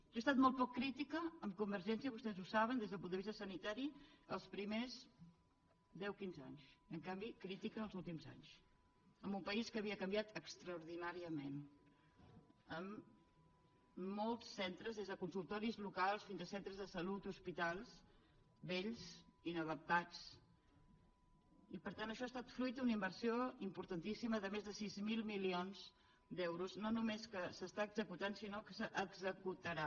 jo he estat molt poc crítica amb convergència vostès ho saben des del punt de vista sanitari els primers deu quinze anys en canvi crítica els últims anys en un país que havia canviat extraordinàriament amb molts centres des de consultoris locals fins a centres de salut hospitals vells inadaptats i per tant això ha estat fruit d’una inversió importantíssima de més de sis mil milions d’euros no només que s’està executant sinó que s’executarà